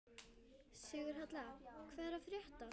Sigurhelga, hvað er að frétta?